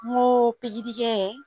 N ko pikirikɛ